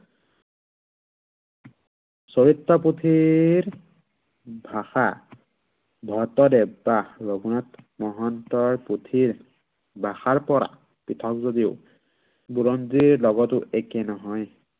চৰিত পুথিৰ ভাষা ভট্টদেৱ বা ৰঘুনাথ মহন্তৰ পুথিৰ, ভাষাৰ পৰা পৃথক যদিও বুৰঞ্জীৰ লগতো একে নহয়।